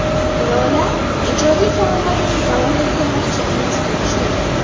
Lola ijodiy faoliyatini davom ettirmoqchi emasga o‘xshaydi.